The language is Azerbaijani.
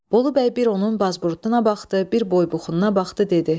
Bolubəy bir onun bazburuduna baxdı, bir boy-buxununa baxdı, dedi.